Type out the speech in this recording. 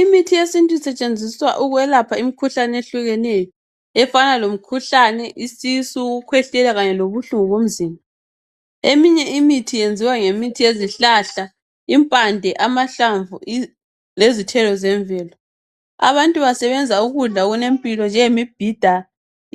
Imithi yesintu isetshenziswa ukwelapha imikhuhlane eyehlukeneyo. Efana lomkhuhlane, isisu, ukukhwehlela kanye lobuhlungu bomzimba. Eminye imithi yenziwa ngemithi yezihlahla, impande, amahlamvu lezithelo zemvelo. Abantu basebenza ukudla okulempilo, njengemibhida,